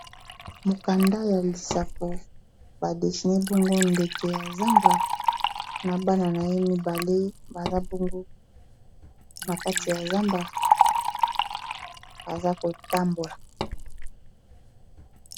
mokanda ya lisapo badesiner bongo ndeke ya zamba na bana na ye mibale baza bongo na kati ya zamba baza kotambola